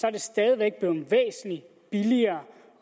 er det stadig væk blevet væsentlig billigere